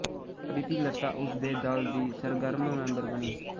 ਪ੍ਰੀਤੀਲਤਾ ਉਸ ਦੇ ਦਲ ਦੀ ਸਰਗਰਮ ਮੈਂਬਰ ਬਣੀ